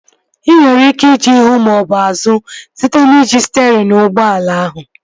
Ị nwere ike ije ihu maọbụ azụ site n'iji sterịn ụgbọala ahụ